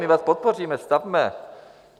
My vás podpoříme, stavme!